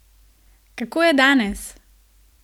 Kako je danes?